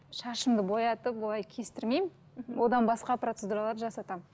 шашымды боятып олай кестірмеймін одан басқа процедуралар жасатамын